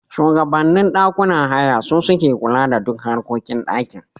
Shugabannin ɗakunan haya su suke kula da duk harkokin ɗakin